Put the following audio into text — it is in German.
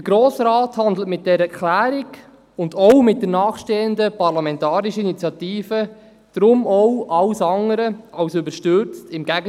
Der Grosse Rat handelt mit dieser Erklärung und auch mit der nachfolgenden Parlamentarischen Initiative alles andere als überstürzt – im Gegenteil: